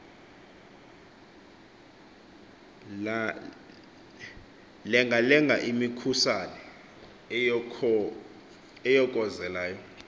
lengalenga imikhusane eyokozelayo